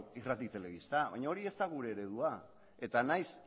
irrati telebista ez da gure eredua eta nahiz